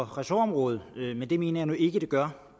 ressortområde men det mener jeg nu ikke det gør